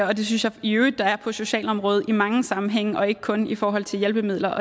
og det synes jeg i øvrigt der er på socialområdet i mange sammenhænge og ikke kun i forhold til hjælpemidler